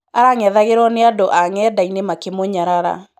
Arang'ethagirwo nĩ andũ a ng'endainĩ makĩmũnyarara.